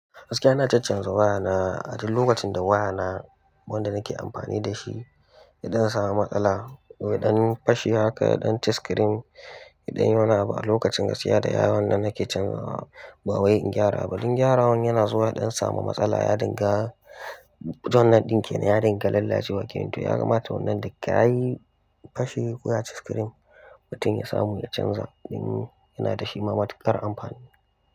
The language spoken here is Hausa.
Gaskiya ina chach chanza waya na a duk lokacin da waya na wanda nake amfani da shi ya ɗan samu matsala, ko ya ɗan fashe haka ya ɗan chi screen idan ya ɗan ba lokacin ka saya da yawancin nake canzawa ba wai in gyara ba. Dan gyarawan yana zuwa ya ɗan samu matsala ya dinga don nan ɗinkin ya dinga lalacewa. Kim tun ya kamata wannan da ka yi fashe ko ya chi screen mutum ya samu ya canza in yana da shi ma matukar amfani.